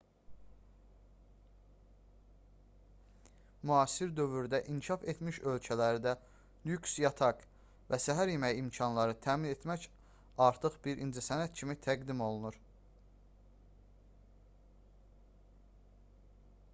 müasir dövrdə inkişaf etmiş ölkələrdə lüks yataq və səhər yeməyi imkanları təmin etmək artıq bir incəsənət kimi təqdim olunur